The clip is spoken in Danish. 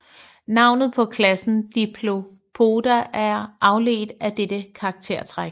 Navnet på klassen Diplopoda er afledt af dette karaktertræk